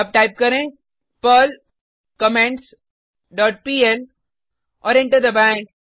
अब टाइप करें Perl comments dot PL और एंटर दबाएँ